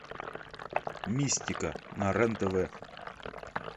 мистика на рен тв